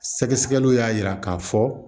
Sɛgɛsɛgɛliw y'a yira k'a fɔ